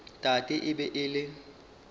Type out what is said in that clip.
tate e be e le